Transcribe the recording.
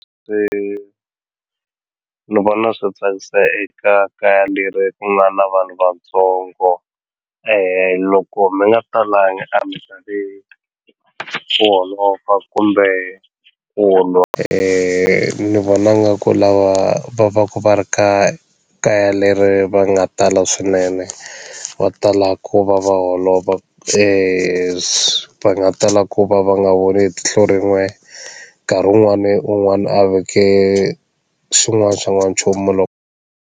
Ni vona swi tsakisa eka kaya leri ku nga na vanhu vatsongo loko mi nga talanga a mi tali ku holova kumbe ku lwa ni vona nga ku lava va va ku va ri ka kaya leri va nga tala swinene va tala ku va va holova va nga tala ku va va nga voni hi tihlo rin'we nkarhi wun'wani un'wana a veke xin'wana xa n'wanchumu .